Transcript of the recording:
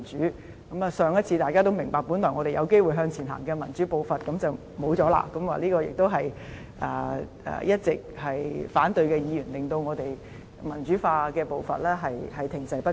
大家也明白，上次我們本來有機會讓民主步伐向前走，但就這樣落空了，也是一直反對的議員令我們民主化的步伐停滯不前。